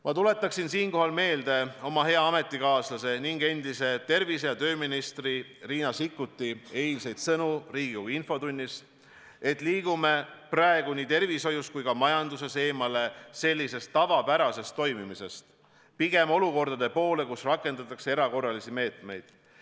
Ma tuletaksin siinkohal meelde oma hea ametikaaslase, endise tervise- ja tööministri Riina Sikkuti eilseid sõnu Riigikogu infotunnis: me liigume praegu nii tervishoius kui ka majanduses eemale tavapärasest toimimisest pigem olukordade poole, kus rakendatakse erakorralisi meetmeid.